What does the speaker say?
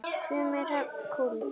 Tumi Hrafn Kúld.